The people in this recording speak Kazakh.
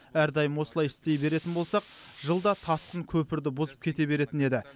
әрдайым осылай істей беретін болсақ жылда тасқын көпірді бұзып кете беретін еді